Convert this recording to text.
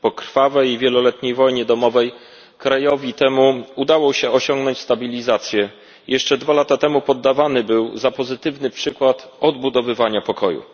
Po krwawej i wieloletniej wojnie domowej krajowi temu udało się osiągnąć stabilizację, jeszcze dwa lata temu podawany był za pozytywny przykład odbudowywania pokoju.